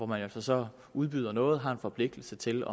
man jo så så udbyder noget og har en forpligtelse til